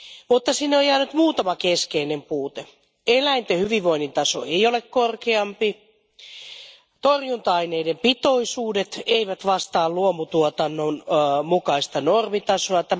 Mutta sinne on jäänyt muutama keskeinen puute Eläinten hyvinvoinnin taso ei ole korkeampi, torjunta aineiden pitoisuudet eivät vastaa luomutuotannon mukaista normitasoa.